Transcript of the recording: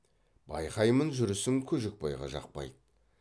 байқаймын жүрісім көжекбайға жақпайды